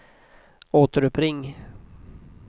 återuppring